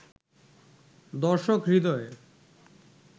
দর্শক হৃদয়ে